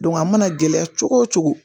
a mana gɛlɛya cogo o cogo